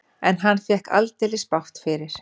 En hann fékk aldeilis bágt fyrir.